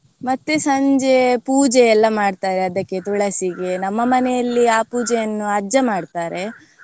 ಮತ್ತೆ ಸಂಜೆ ಪೂಜೆ ಎಲ್ಲ ಮಾಡ್ತಾರೆ ಅದಕ್ಕೆ ತುಳಸಿಗೆ ನಮ್ಮ ಮನೆಯಲ್ಲಿ ಆ ಪೂಜೆಯನ್ನು ಅಜ್ಜ ಮಾಡ್ತಾರೆ.